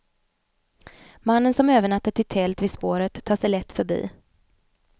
Mannen som övernattat i tält vid spåret tar sig lätt förbi.